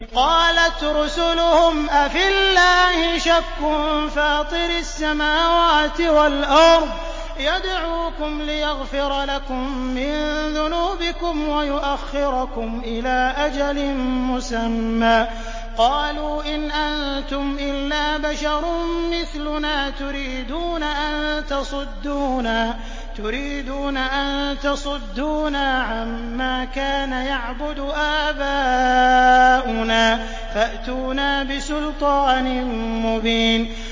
۞ قَالَتْ رُسُلُهُمْ أَفِي اللَّهِ شَكٌّ فَاطِرِ السَّمَاوَاتِ وَالْأَرْضِ ۖ يَدْعُوكُمْ لِيَغْفِرَ لَكُم مِّن ذُنُوبِكُمْ وَيُؤَخِّرَكُمْ إِلَىٰ أَجَلٍ مُّسَمًّى ۚ قَالُوا إِنْ أَنتُمْ إِلَّا بَشَرٌ مِّثْلُنَا تُرِيدُونَ أَن تَصُدُّونَا عَمَّا كَانَ يَعْبُدُ آبَاؤُنَا فَأْتُونَا بِسُلْطَانٍ مُّبِينٍ